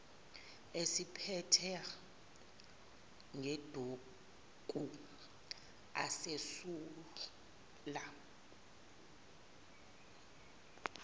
eziphephetha ngeduku azesula